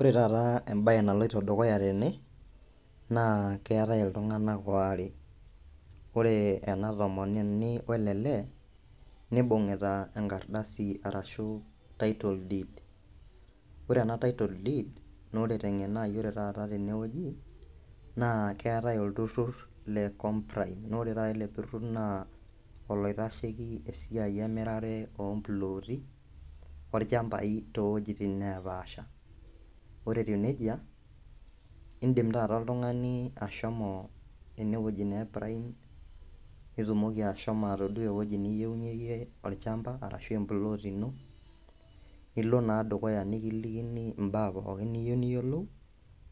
Ore taata embaye naloito dukuya tene naa keetae iltung'anak oare ore ena tomononi wele lee nibung'ita enkardasi arashu title deed ore ena title deed nore teng'eno ai ore taata tenewueji naa keetae olturrur le comprime nore taata ele turrur naa oloitasheki esiai emirare omploti olchambai towojitin napaasha ore etiu nejia indim taata oltung'ani ashomo enewueji naa e prime nitumoki ashomo atodua ewoji niyieunyie iyie orchamba arashu emplot ino nilo naa dukuya nikilikini imbaa pookin niyieu niyiolou